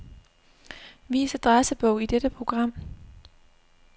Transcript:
Vis adressebog i dette program.